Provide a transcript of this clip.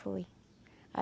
Foi.